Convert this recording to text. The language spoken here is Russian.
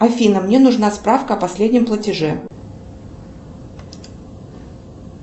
афина мне нужна справка о последнем платеже